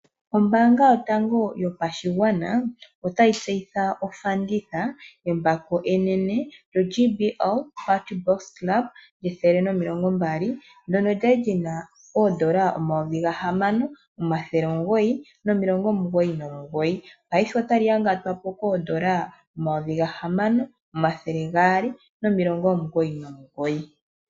Ombanga yotango yopashigwana otayi tseyitha ofanditha yembako enene lyo JBL Party box Club 120 ndono kwali lyina ondola 6999 paife otali yangatwapo kondola 6299.